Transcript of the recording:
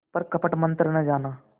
पर कपट मन्त्र न जाना